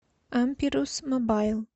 ампирус мобайл